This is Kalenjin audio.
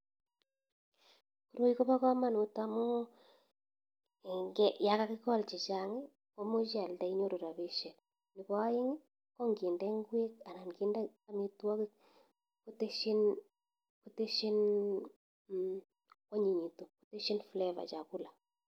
Koroi ko pa kamanut amu, ya kakikol chechang komuche ialde inyoru rapishek nebo aeng konginde ngwek anan kinde amitwokik koteshin flavour chakula.